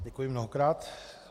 Děkuji mnohokrát.